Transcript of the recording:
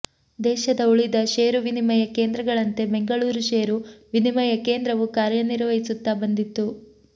ದೇಶದ ಉಳಿದ ಷೇರು ವಿನಿಮಯ ಕೇಂದ್ರಗಳಂತೆ ಬೆಂಗಳೂರು ಷೇರು ವಿನಿಮಯ ಕೇಂದ್ರವು ಕಾರ್ಯನಿರ್ವಹಿಸುತ್ತಾ ಬಂದಿತ್ತು